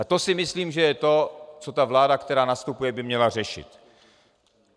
A to si myslím, že je to, co ta vláda, která nastupuje, by měla řešit.